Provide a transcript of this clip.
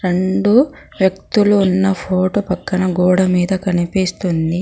ముందు వ్యక్తులు ఉన్న ఫోటో పక్కన గోడ మీద కనిపిస్తుంది.